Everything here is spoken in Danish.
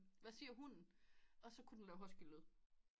Hvad siger hunden og så kunne den lave husky lyde